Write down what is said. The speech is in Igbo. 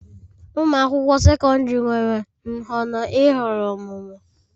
Ụmụ akwụkwọ sekọndrị nwere nhọrọ ịhọrọ ọmụmụ